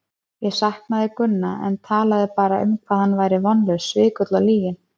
Ég saknaði Gunna en talaði bara um hvað hann væri vonlaus, svikull og lyginn.